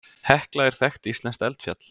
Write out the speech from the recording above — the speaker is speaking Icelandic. Hekla er þekkt íslenskt eldfjall.